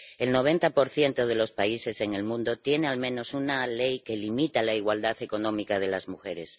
El 90 de los países en el mundo tiene al menos una ley que limita la igualdad económica de las mujeres.